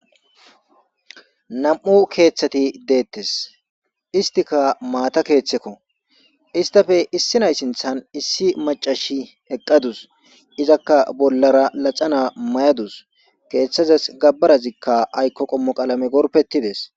nam7u keeththati deettes istika maata keeththekko istafe issi nay sinthan issi macashi eqqadus izakka bollara laxana may7adus keeththazas gabbarazikka aykko qommo qaalame gorpetides